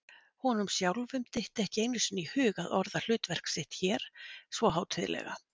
Honum sjálfum dytti ekki einu sinni í hug að orða hlutverk sitt hér svo hátíðlega.